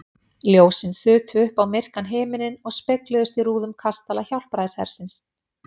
Ljósin þutu upp á myrkan himininn og spegluðust í rúðum kastala Hjálpræðishersins.